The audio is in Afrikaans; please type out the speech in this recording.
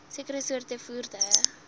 sekere soorte voertuie